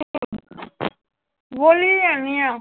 ਬੋਲੀ ਤਾਂ ਜਾਨੀ ਆਂ।